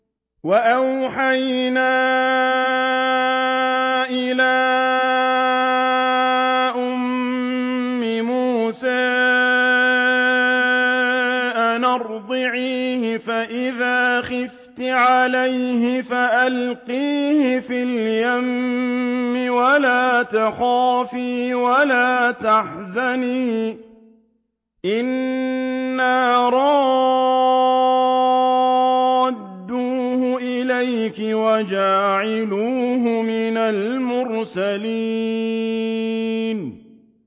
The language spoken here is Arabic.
وَأَوْحَيْنَا إِلَىٰ أُمِّ مُوسَىٰ أَنْ أَرْضِعِيهِ ۖ فَإِذَا خِفْتِ عَلَيْهِ فَأَلْقِيهِ فِي الْيَمِّ وَلَا تَخَافِي وَلَا تَحْزَنِي ۖ إِنَّا رَادُّوهُ إِلَيْكِ وَجَاعِلُوهُ مِنَ الْمُرْسَلِينَ